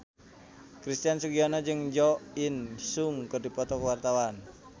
Christian Sugiono jeung Jo In Sung keur dipoto ku wartawan